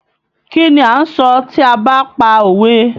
Kí ni a ń sọ tí a ba pa òwe?